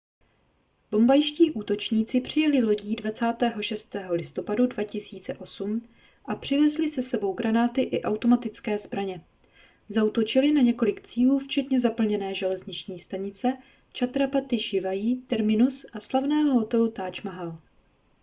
bombajští útočníci přijeli lodí 26. listopadu 2008 a přivezli s sebou granáty i automatické zbraně zaútočili na několik cílů včetně zaplněné železniční stanice chhatrapati shivaji terminus a slavného hotelu taj mahal